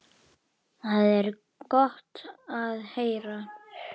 Ég saup aftur á.